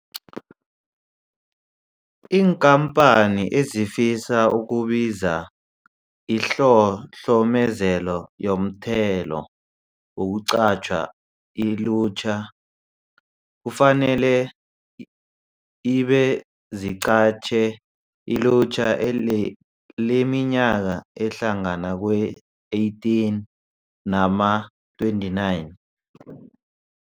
Iinkampani ezifisa ukubiza iHlohlomezelo Yomthelo Wokuqatjha iLutjha, kufanele ibe ziqatjhe ilutjha leminyaka ehlangana kwe-18 nama-29.